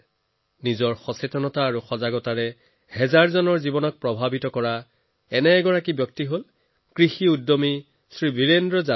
নিজৰ সজাগতাৰে হাজাৰজনৰ জীৱনক প্ৰভাৱিত কৰা এজন কৃষি উদ্যমী হৈছে বীৰেন্দ্ৰ যাদব